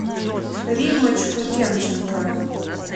риммочку демченко